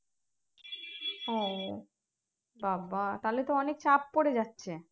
ও বা বা তাহলে তো অনেক চাপ পরে যাচ্ছে